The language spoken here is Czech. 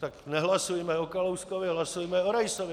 Tak nehlasujme o Kalouskovi, hlasujme o Raisovi.